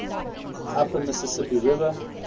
upper mississippi river